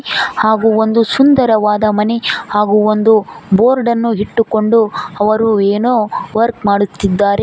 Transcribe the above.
ಹಾಗೂ ಒಂದು ಸುಂದರವಾದ ಮನೆ ಹಾಗೂ ಒಂದು ಬೋರ್ಡ್ ಅನ್ನು ಇಟ್ಟುಕೊಂಡು ಅವರು ಏನೋ ವರ್ಕ್ ಮಾಡುತ್ತಿದ್ದಾರೆ.